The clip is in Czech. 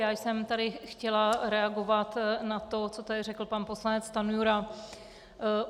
Já jsem tady chtěla reagovat na to, co tady řekl pan poslanec Stanjura.